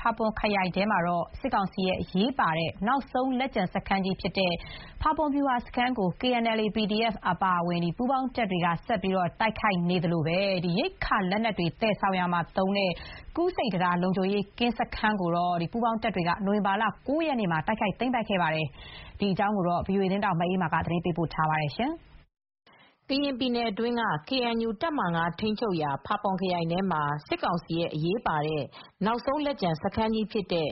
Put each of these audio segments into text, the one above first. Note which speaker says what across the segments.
Speaker 1: ဖာပွန်ခရိုင်ထဲမှာ စစ်ကောင်စီရဲ့ အရေးပါတဲ့ နောက်ဆုံးလက်ကျန်စခန်းကြီးဖြစ်တဲ့ ဖာပွန်ဗျူဟာစခန်းကို KNLA /PDF အပါအဝင် ပူးပေါင်းတပ်တွေက တိုက်ခိုက် နေသလို ရိက္ခာလက်နက်တွေ သယ်ဆောင်ရာမှာလုံခြုံရေးစခန်းတခုဖြစ်တဲ့ ကူးဆိပ်တံတားလုံခြုံရေးစခန်းကိုတော့ နိုဝင်ဘာလက ၉ရက်နေ့က တိုက်ခိုက်သိမ်းပိုက်ခဲ့ပါတယ်။ ဒီသတင်းကို ဗွီအိုအေသတင်းထောက် မအေးအေးမာက သတင်းပေးပို့ထားပါတယ်။
Speaker 2: ကရင်ပြည်နယ်အတွင်းကKNU တပ်မဟာ ၅ ထိန်းချုပ်ရာ ဖာပွန်ခရိုင်ထဲမှာ စစ်ကောင်စီရဲ့ အရေးပါတဲ့ နောက်ဆုံးလက်ကျန်စခန်းကြီး ဖြစ်တဲ့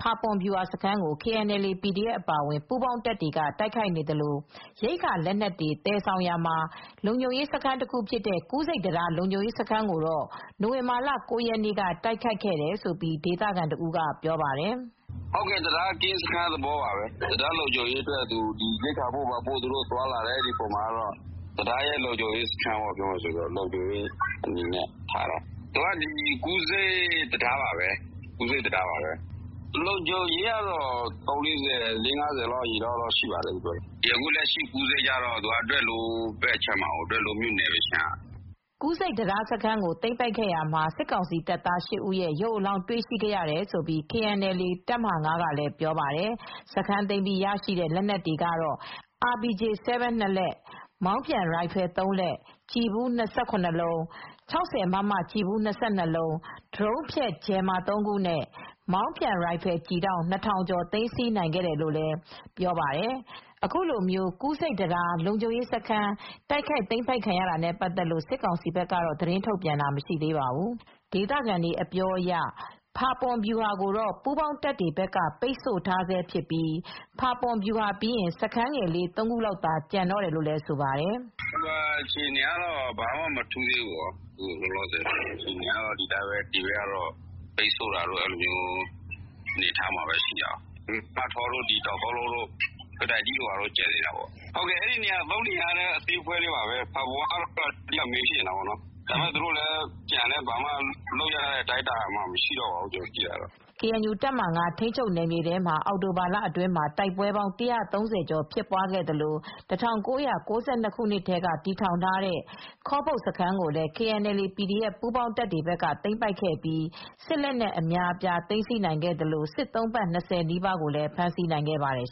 Speaker 2: ဖာပွန်ဗျူဟာစခန်းကို KNLA /PDF အပါအဝင် ပူးပေါင်းတပ်တွေက တိုက်ခိုက်နေသလို ရိက္ခာလက်နက်တွေသယ်ဆောင်ရာမှာ လုံခြုံရေးစခန်းတခုဖြစ်တဲ့ ကူးဆိပ်တံတား လုံခြုံရေးစခန်းကိုတော့ နိုဝင်ဘာလက ၉ ရက်နေ့က တိုက်ခိုက်ခဲ့တယ်လို့ ဒေသခံတဦးကပြောပါတယ်။
Speaker 3: “တံတားကင်းစခန်း တခုပါပဲ တံတားမှာ ရိက္ခာပို့သွားတဲ့အခါမှာ တံတားရဲ့လုံခြုံရေးကင်းစခန်းတခုပါပဲ ကူးဆိပ်တံတားစခန်းကတော့ လုံခြုံရေး ကတော့ လေးငါးဆယ်လောက်ရှိပါတယ် ။အခုကူးဆိပ်ကတော့ ဒွယ်လိုးမြို့နယ်ဘက်အခြမ်းကပါ”
Speaker 2: ကူးဆိပ်တံတားစခန်းကိုသိမ်းပိုက်ရာမှာစစ်ကောင်စီတပ်သား ၈ ဦး ရုပ်အလောင်းတွေရရှိခဲ့တယ်လို့ KNLA တပ်မဟာ ၅ ကပြောပါတယ်။ စခန်းသိမ်းပြီးရရှိတဲ့ လက်နက်တွေကတော့ RPG-7 လက်၊ မောင်းပြန်ရိုင်ဖယ် လက်၊ ကျည်ဖူး လုံး၊ ၆၀မမကျည်ဖူး လုံး၊ ဒရုန်းဖျက် ဂျယ်မာ ခုနဲ့ မောင်းပြန်ရိုင်ဖယ် ကျည်တောင့် ကျော်ကို သိမ်းဆည်းနိုင်ခဲ့တယ်လို့ဆိုပါတယ်။ ကူးဆိပ်တံတားလုံခြုံးရေးစခန်း တိုက်ခိုက်ခံရတာနဲ့ ပတ်သက်လို့တော့ စစ်ကောင်စီဘက်က သတင်းထုတ်ပြန်တာမရှိသေးပါဘူး။ ဒေသခံတွေအပြောအရ ဖာပွန်ဗျူဟာကိုတော့ ပူးပေါင်းတပ်တွေဘက်က ပိတ်ဆို့ထားဆဲဖြစ်ပြီး ဖာပွန်ဗျူဟာပြီးရင် စခန်းငယ်လေး ၃ခုလောက်သာကျန်တော့တယ်လို့လည်းဆိုပါတယ်။
Speaker 3: “ဗျူဟာအခြေအနေကတော့မထူးသေးဘူး။ အခုကတော့ ဒီဘက် ဘက်ကပိတ်ဆို့ထားတုန်းပါပဲ။ မထောတို့ တောင်သုံးလုံးစခန်း ကတိုင်ထိ စခန်းတွေတော့ရှိသေးတယ် အဲဒီ ၃နေရာတွေကလည်း အသေးလေးတွေပါပဲ ဖာပွန်ကတော့အဓိက မိန်းစခန်းပါပဲ အဲဒီနေရာတွေ သူတို့ကျန်လည်း ဘာမှာတော့လုပ်မရတော့ပါဘူး”
Speaker 2: ကေအန်ယူ တပ်မဟာ ထိန်းချုပ်နယ်မြေထဲမှာအောက်တိုဘာလအတွင်း မှာပဲ တိုက်ပွဲပေါင်း ၁၃၀ ကျော်ဖြစ်ပွားခဲ့သလို ၁၉၉၂ခုနှစ်ကတည်းက တည်ထောင်ထားတဲ့ ခေါပုတ်စခန်းကိုလည်း KNLA/PDF ပူးပေါင်းတပ်တွေဘက်က သိမ်းပိုက်ခဲ့ပြီး စစ်လက်နက်အများအပြား သိမ်းဆည်းနိုင်ခဲ့သလိုစစ်သုံ့ပန်း ၂၀ နီးပါးကို ဖမ်းဆီးနိုင်ခဲ့ပါတယ်